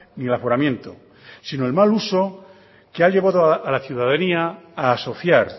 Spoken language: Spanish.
ni el aforamiento sino el mal uso que ha llevado a la ciudadanía a asociar